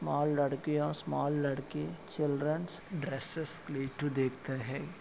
''Small लड़किया small लड़के childrens dresses देखते है।''